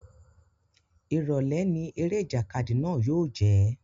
Ìrọ̀lẹ́ ni eré ìjàkadì náà yóò jẹ́